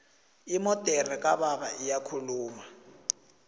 imodere kababa iyakhuluma